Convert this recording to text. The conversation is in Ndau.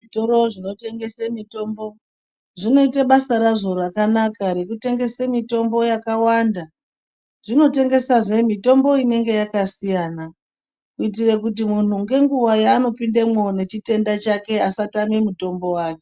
Zvitoro zvinotengesa mitombo zvinoita basa razvo rakanaka rekutengesa mitombo yakawanda zvinotengesazve mitombo inenge yakasiyana kuitira kuti munhu ngenguwa yaanopindemwo nechitenda chake asatama mutombo wake.